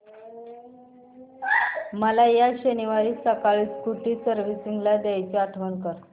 मला या शनिवारी सकाळी स्कूटी सर्व्हिसिंगला द्यायची आठवण कर